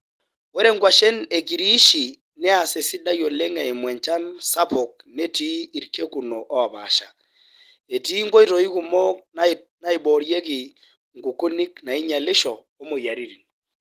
Ore nkuashen e Kiriishi neas esidai oleng eimu enchan sapuk netii irkekuno oopaasha. Etii nkoitoi kumok naiboorieki nkukunik nainyialisho o moyiaritin